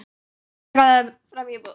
Hann gáði fram í búð.